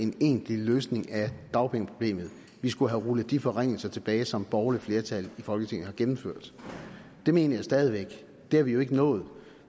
en egentlig løsning af dagpengeproblemet vi skulle have rullet de forringelser tilbage som et borgerligt flertal i folketinget har gennemført det mener jeg stadig væk det har vi jo ikke nået